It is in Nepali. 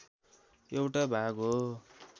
एउटा भाग हो